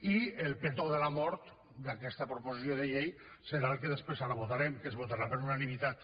i el petó de la mort d’aquesta proposició de llei serà el que després ara votarem que es votarà per unanimitat